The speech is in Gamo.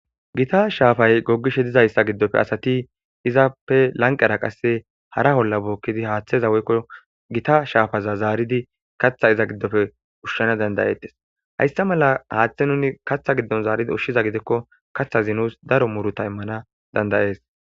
Gita shaafay gogishe dizayssa giddofe asati izappe lanqera qasse hara holla bookkidi haaththeza woykko gita shaafaza zaaridi katha iza giddofe ushshana dandayettes hayssa mala haaththe nuni katha giddon zaaridi oshshiza gidikko katha zi nuus daro muruta immana dandayees.